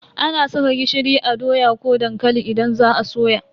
Ana saka gishiri a doya ko dankali idan za a soya.